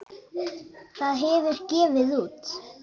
Það hefur gefið út